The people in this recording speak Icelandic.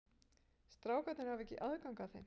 Strákarnir hafa ekki aðgang að þeim?